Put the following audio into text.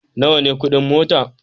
Nawa ne kudin mota?